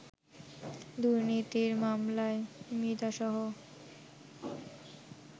দুর্নীতির মামলায় মৃধাসহ